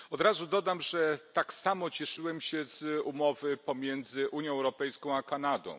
Od razu dodam, że tak samo cieszyłem się z umowy pomiędzy Unią Europejską a Kanadą.